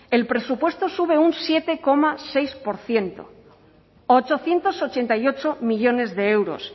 el presupuesto sube un siete coma seis por ciento a ochocientos ochenta y ocho millónes de euros